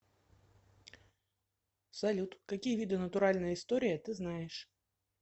салют какие виды натуральная история ты знаешь